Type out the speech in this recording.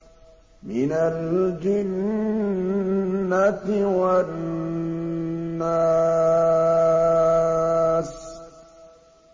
مِنَ الْجِنَّةِ وَالنَّاسِ